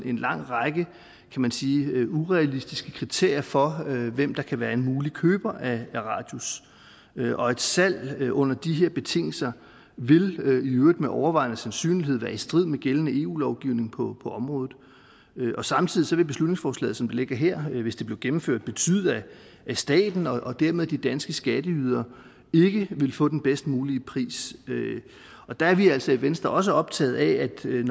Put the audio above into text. en lang række kan man sige urealistiske kriterier for hvem der kan være en mulig køber af radius og et salg under de betingelser ville i øvrigt med overvejende sandsynlighed være i strid med gældende eu lovgivning på området og samtidig ville beslutningsforslaget som det ligger her hvis det blev gennemført betyde at staten og dermed de danske skatteydere ikke ville få den bedst mulige pris og der er vi altså i venstre også optaget af